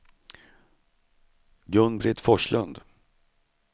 Gun-Britt Forslund